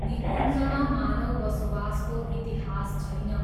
निकुञ्जमा मानव बसोबासको इतिहास छैन।